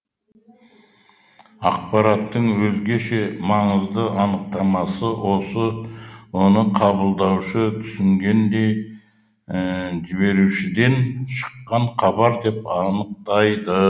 ақпараттың өзгеше маңызды анықтамасы оны қабылдаушы түсінгендей жіберушіден шыққан хабар деп анықтайды